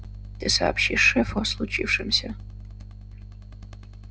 ты сообщишь шефу о случившемся